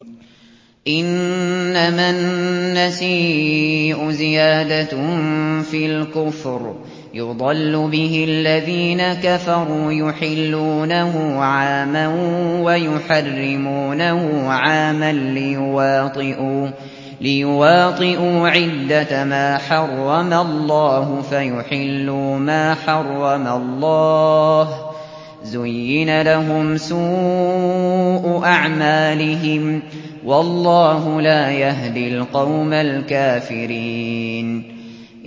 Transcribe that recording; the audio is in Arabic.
إِنَّمَا النَّسِيءُ زِيَادَةٌ فِي الْكُفْرِ ۖ يُضَلُّ بِهِ الَّذِينَ كَفَرُوا يُحِلُّونَهُ عَامًا وَيُحَرِّمُونَهُ عَامًا لِّيُوَاطِئُوا عِدَّةَ مَا حَرَّمَ اللَّهُ فَيُحِلُّوا مَا حَرَّمَ اللَّهُ ۚ زُيِّنَ لَهُمْ سُوءُ أَعْمَالِهِمْ ۗ وَاللَّهُ لَا يَهْدِي الْقَوْمَ الْكَافِرِينَ